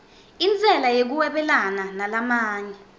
intsela yekuhwebelana nalamanye